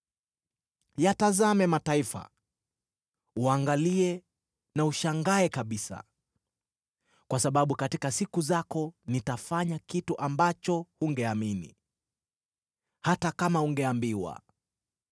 “Yatazame mataifa, uangalie na ushangae kabisa. Kwa sababu katika siku zako nitafanya kitu ambacho hungeamini, hata kama ungeambiwa.